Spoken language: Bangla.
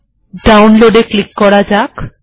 ডাউনলোড এ ক্লিক করা যাক